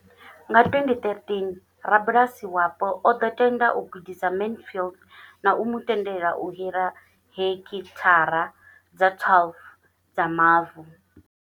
Nga 2013, rabulasi wapo o ḓo tenda u gudisa Mansfield na u mu tendela u hira heki thara dza 12 dza mavu.